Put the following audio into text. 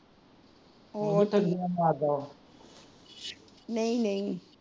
ਨਹੀਂ ਨਹੀਂ।